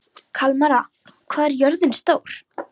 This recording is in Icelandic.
Kalmara, hvað er jörðin stór?